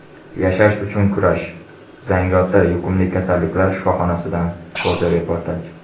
Yashash uchun kurash: Zangiota yuqumli kasalliklar shifoxonasidan fotoreportaj.